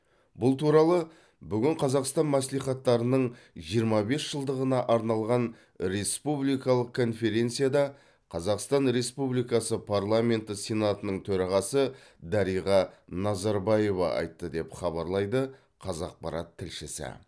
бұл туралы бүгін қазақстан мәслихаттарының жиырма бес жылдығына арналған республикалық конференцияда қазақстан республикасы парламенті сенатының төрағасы дариға назарбаева айтты деп хабарлайды қазақпарат тілшісі